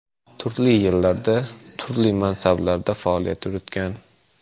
Turli yillarda turli mansablarda faoliyat yuritgan.